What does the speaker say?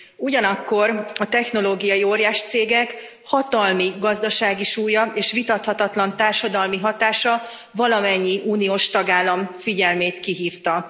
Ugyanakkor a technológiai óriáscégek hatalmi, gazdasági súlya és vitathatatlan társadalmi hatása valamennyi uniós tagállam figyelmét kihívta.